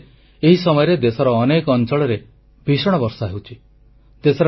ଅନ୍ୟପକ୍ଷରେ ଏହି ସମୟରେ ଦେଶର ଅନେକ ଅଂଚଳରେ ଭୀଷଣ ବର୍ଷା ହେଉଛି